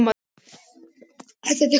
Þetta er dökkur sandur.